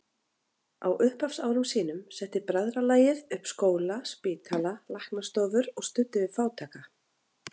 Á upphafsárum sínum setti bræðralagið upp skóla, spítala, læknastofur og studdi við fátæka.